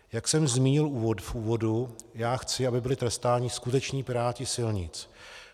Jak jsem zmínil v úvodu, já chci, aby byli trestáni skuteční piráti silnic.